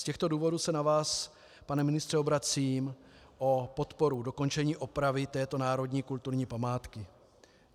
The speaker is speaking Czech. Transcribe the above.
Z těchto důvodů se na vás, pane ministře, obracím o podporu dokončení opravy této národní kulturní památky.